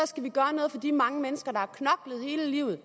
skal vi gøre noget for de mange mennesker der har knoklet hele livet